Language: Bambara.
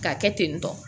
K'a kɛ ten tɔ